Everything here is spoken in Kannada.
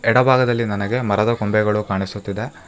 ಎಡ ಭಾಗದಲ್ಲಿ ನನಗೆ ಮರದ ಗೊಂಬೆಗಳು ಕಾಣಿಸುತ್ತಿದೆ.